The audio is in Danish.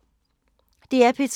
DR P3